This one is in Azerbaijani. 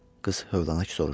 Qız həvlənaq soruşdu.